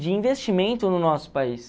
de investimento no nosso país.